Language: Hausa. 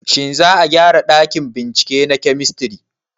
Shin za a gyara ɗakin bincike na kemistri?